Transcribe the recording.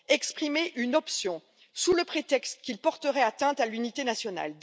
exprimé une option, sous le prétexte qu'ils porteraient atteinte à l'unité nationale.